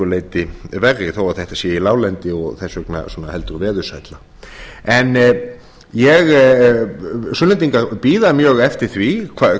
leyti verri þó að þetta sé á láglendi og þess vegna svona heldur veðursælla sunnlendingar bíða mjög eftir því